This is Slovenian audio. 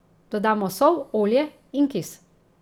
Dodamo sol, olje, in kis.